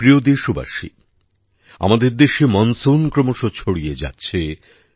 আমার প্রিয় দেশবাসী আমাদের দেশে মনসুন ক্রমশ ছড়িয়ে যাচ্ছে